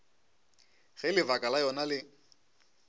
ge lebaka la yona le